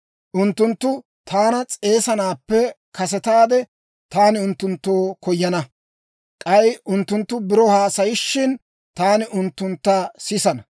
Unttunttu taana s'eesanaappe kasetaade taani unttunttoo koyana; k'ay unttunttu biro haasayishin, taani unttuntta sisana.